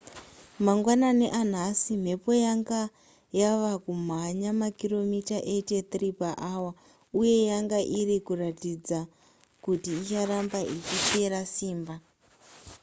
mangwanani anhasi mhepo yanga yava kumhanya makiromita 83 paawa uye yanga iri kuratidza kuti icharamba ichipera simba